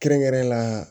Kɛrɛnkɛrɛnnenya la